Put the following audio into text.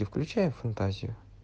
и включай фантазию